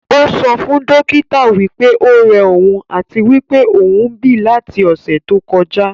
Ó sọ fún dókítà wí pé ó rẹ òun àti wí pé òún bí láti ọ̀sẹ̀ tó kọjá